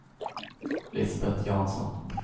Lisbet Jansson